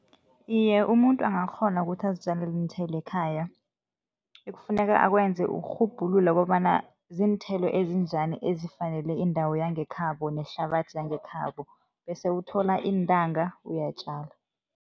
Iye, umuntu angakghona ukuthi azitjalele iinthelo ekhaya. Ekufuneka akwenze ukurhubhulula kobana ziinthelo ezinjani ezifanele iindawo yangekhabo nehlabathi yangekhabo bese uthola iintanga, uyatjala.